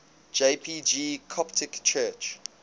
jpg coptic church